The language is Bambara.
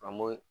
An m'o